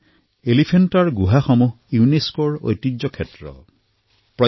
এলিফেণ্টাৰ গুহা ইউনেস্কই বিশ্ব ঐতিহ্য ঘোষণা কৰিছে